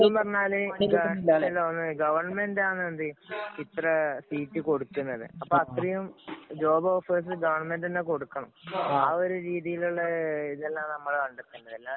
ഇതെന്ന് പറഞ്ഞാല് ഗവണ്മെന്‍റ് ആണ് ഇത്ര സീറ്റ് കൊടുക്കണത്. അപ്പൊ അത്രയും ജോബ്‌ ഓഫേഴ്സ് ഗവണ്മെന്‍റ് തന്നെ കൊടുക്കണം. ആ ഒരു രീതിയിലുള്ള ഇതെല്ലാം നമ്മളാ കണ്ടെത്തെണ്ടേ അല്ലാതെ